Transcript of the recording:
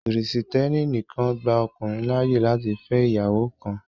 Christianity only allows a man to marry one wife